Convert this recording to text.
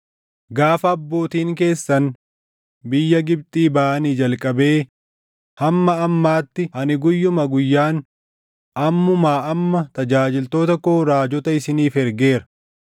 Gaafa abbootiin keessan biyya Gibxii baʼanii jalqabee hamma ammaatti ani guyyuma guyyaan, ammumaa amma tajaajiltoota koo raajota isiniif ergeera.